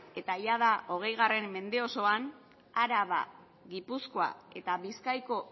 eta jada hogei mende osoan araba gipuzkoa eta bizkaiko